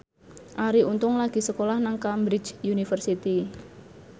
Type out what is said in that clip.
Arie Untung lagi sekolah nang Cambridge University